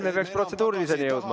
Me peaks protseduuriliseni jõudma.